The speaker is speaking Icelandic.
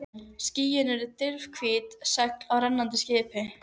Bauð lögmaður Birni þá iðran í hið þriðja sinn.